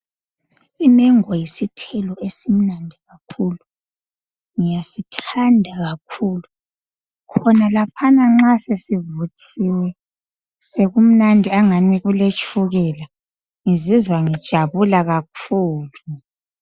Imengo yisithelo esimnandi kakhulu ngiyasithanda kakhulu khonalaphana nxa sesivuthiwe sekumnandi angani kuletshukela ngizizwa ngijabula kakhulu.